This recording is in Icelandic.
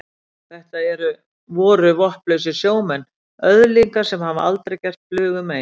Þetta eru. voru vopnlausir sjómenn, öðlingar sem hafa aldrei gert flugu mein.